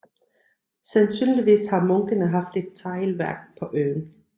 Sandsynligvis har munkene haft et teglværk på øen